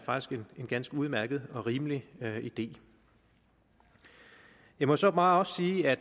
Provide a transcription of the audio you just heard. en ganske udmærket og rimelig idé jeg må så bare også sige at